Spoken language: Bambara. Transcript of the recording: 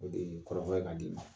O de ye kɔrɔfɔ ye k'a d'i ma.